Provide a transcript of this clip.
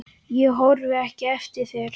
Ég horfi ekki eftir þér.